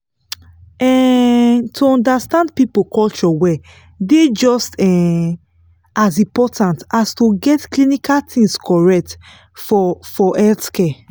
um to understand people culture well just um as important as to get clinical things correct for for healthcare.